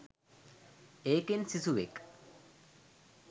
ඒකෙන් සිසුවෙක්